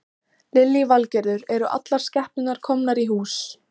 Lillý Valgerður: Eru allar skepnurnar komnar í hús?